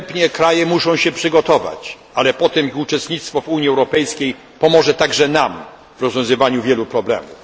Kraje muszą się wstępnie przygotować, ale potem ich uczestnictwo w Unii Europejskiej pomoże także nam w rozwiązywaniu wielu problemów.